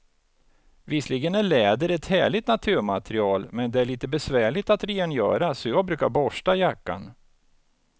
Visserligen är läder ett härligt naturmaterial, men det är lite besvärligt att rengöra, så jag brukar borsta jackan.